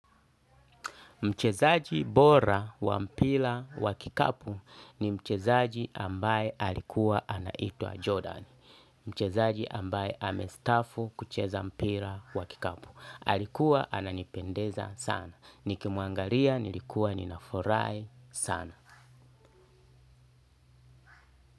Mchezaji bora wa mpira wa kikapu ni mchezaji ambaye alikuwa anaitwa Jordan. Mchezaji ambaye amestafu kucheza mpila wa kikapu. Alikuwa ananipendeza sana. Nikimuangalia nilikuwa ninafurahi sana.